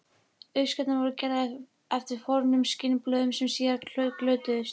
Uppskriftirnar voru gerðar eftir fornum skinnblöðum sem síðar glötuðust.